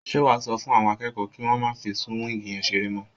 Ṣé wàá sọ fún àwọn akẹ́kọ̀ọ́ kí wọ́n má fí súwíìgì yẹn ṣeré mọ́?